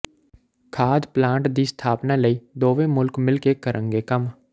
ਖਾਦ ਪਲਾਂਟ ਦੀ ਸਥਾਪਨਾ ਲਈ ਦੋਵੇਂ ਮੁਲਕ ਮਿਲ ਕੇ ਕਰਨਗੇ ਕੰਮ